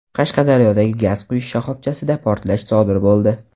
Qashqadaryodagi gaz quyish shoxobchasida portlash sodir bo‘ldi.